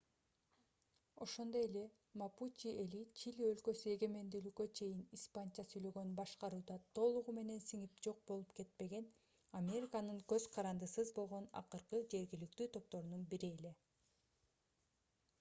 ошондой эле мапучи эли чили өлкөсү эгемендүүлүккө чейин испанча сүйлөгөн башкарууда толугу менен сиңип жок болуп кетпеген американын көз карандысыз болгон акыркы жергиликтүү топторунан бири эле